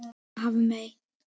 Hérna Hafmey.